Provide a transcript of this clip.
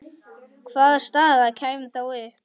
Hvaða staða kæmi þá upp?